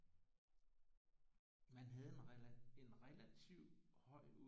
Man havde en relativ høj